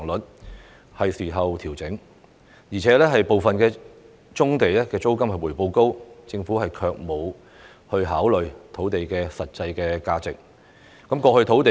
現在是作出調整的時候，而且部分棕地的租金回報高，但政府卻沒有考慮土地的實際價值。